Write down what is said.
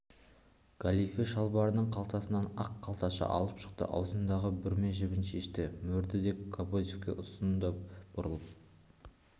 галифе шалбарының қалтасынан ақ қалташа алып шықты ауызындағы бүрме жібін шешті мөрді де кобозевке ұсынды бұрылып